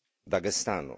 Dagestanu.